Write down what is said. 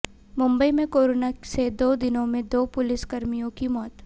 मुंबई में कोरोना से दो दिनों में दो पुलिसकर्मियों की मौत